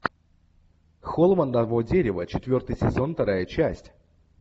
холм одного дерева четвертый сезон вторая часть